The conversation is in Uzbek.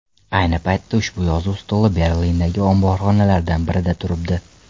Ayni paytda ushbu yozuv stoli Berlindagi omborxonalardan birida turibdi.